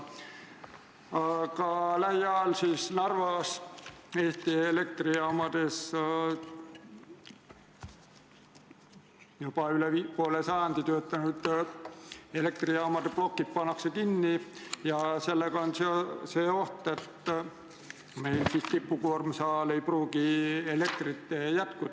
Aga teadupärast lähiajal pannakse Narvas juba üle poole sajandi töötanud elektrijaamade plokid kinni ja sellega tekib oht, et meil tippkoormuse ajal ei pruugi elektrit jätkuda.